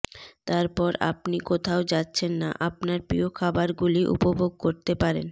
তারপর আপনি কোথাও যাচ্ছেন না আপনার প্রিয় খাবারগুলি উপভোগ করতে পারেন